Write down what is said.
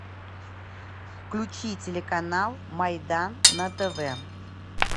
включи телеканал майдан на тв